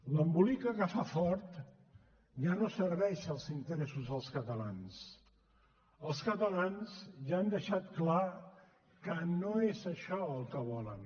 l’embolica que fa fort ja no serveix als interessos dels catalans els catalans ja han deixat clar que no és això el que volen